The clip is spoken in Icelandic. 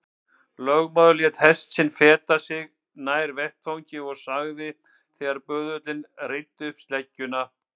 Lögmaður lét hest sinn feta sig nær vettvangi og sagði þegar böðullinn reiddi upp sleggjuna